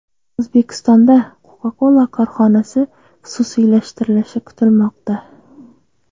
O‘zbekistonda Coca-Cola korxonasi xususiylashtirilishi kutilmoqda.